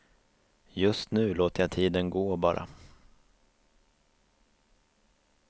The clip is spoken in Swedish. Just nu låter jag tiden gå, bara.